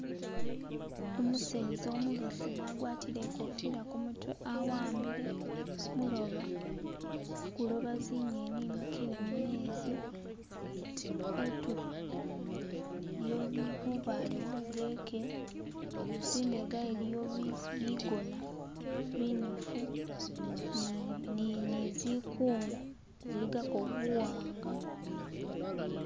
umuseza umubesemu agwatile ikofila kumutwe awambile muloba, guloba zinyeni imikile mumezi kutulo iliyo bubale bugeke zimbega iliyo bigona binefu nizikungu ziligako buwanga